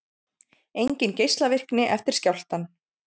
Engin geislavirkni eftir skjálftann